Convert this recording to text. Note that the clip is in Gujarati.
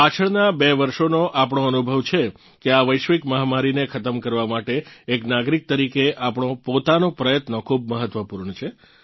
પાછળનાં બે વર્ષોનો આપણો અનુભવ છે કે આ વૈશ્વિક મહામારીને ખતમ કરવા માટે એક નાગરિક તરીકે આપણો પોતાનો પ્રયત્ન ખૂબ મહત્વપૂર્ણ છે